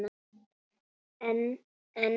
En en.